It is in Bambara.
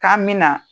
K'an mina